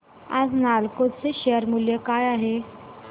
आज नालको चे शेअर मूल्य काय आहे